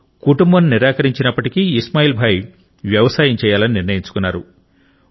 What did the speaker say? కుటుంబం నిరాకరించినప్పటికీ ఇస్మాయిల్ భాయ్ వ్యవసాయం చేయాలని నిర్ణయించుకున్నారు